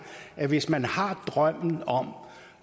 at hvis man har en drøm om